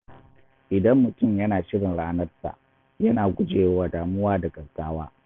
Idan mutum yana shirin ranar sa, yana gujewa damuwa da gaggawa.